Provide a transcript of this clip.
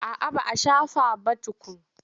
A'a ba a shafa ba tukun.